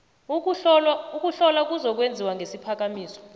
ukuhlola kuzokwenziwa ngesiphakamiso